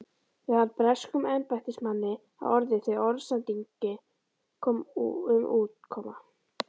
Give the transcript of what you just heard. varð breskum embættismanni að orði, þegar orðsending um útkomu